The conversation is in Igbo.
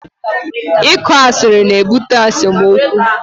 Ịkọ asịrị na-ebute esemokwu